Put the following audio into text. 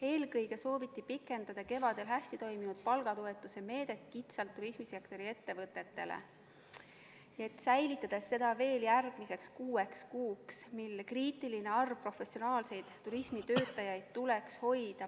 Eelkõige sooviti pikendada kevadel hästi toiminud palgatoetuse meedet kitsalt turismisektori ettevõtetele, säilitades seda veel järgmiseks kuueks kuuks, mil kriitiline arv professionaalseid turismitöötajaid tuleks palgal hoida.